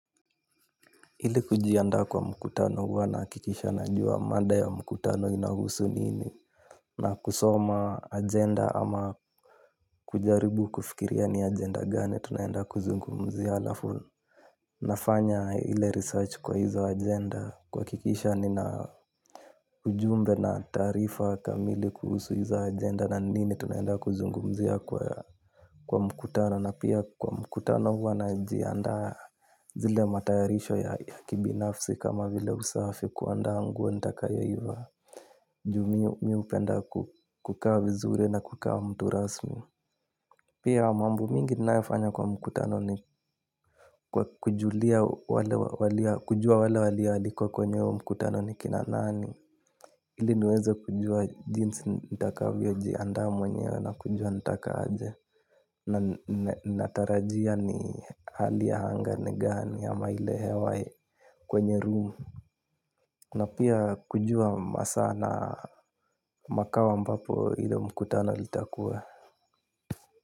Ili kujiandaa kwa mkutano, huwa na hakikisha najua mada ya mkutano inahusu nini. Na kusoma agenda ama kujaribu kufikiria ni agenda gani tunaenda kuzungumzia, halafu nafanya ile research kwa hizo agenda kuhakikisha nina ujumbe na taarifa kamili kuhusu hizo agenda na nini tunaenda kuzungumzia kwa mkutano. Na pia kwa mkutano huwa najiandaa zile matayarisho ya kibinafsi kama vile usafi, kuandaa nguo nitakayo ivaa. Juu mimi hupenda kukaa vizuri na kukaa mtu rasmi. Pia mambo mingi ninayofanya kwa mkutano ni kujua wale walioalikwa kwenye mkutano ni nani, ili niweze kujua jinsi nitakavyojiandaa mwenyewe na kujua nitakavyokuwa, na natarajia ni hali anga ni gani ama ile hewa kwenye room. Na pia kujua masaa na makao ambapo ilo mkutano litakua.